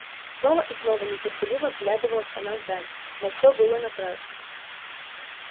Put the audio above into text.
снова и снова нетерпеливо вглядывалась она вдаль но всё было напрасно